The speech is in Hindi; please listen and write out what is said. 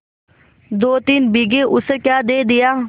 दोतीन बीघे ऊसर क्या दे दिया